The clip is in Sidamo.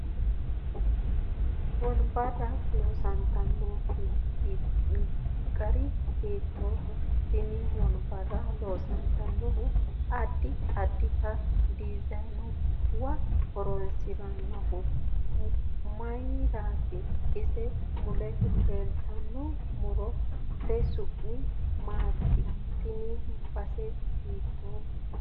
Wonbbarra loosantino gari hiitooho tenne wonbbarra loonsoonihu addi addita diizaanuwa horoonsinoonihu mayiirat ise mule leelttanno murote su'mi maati tini base hiitoote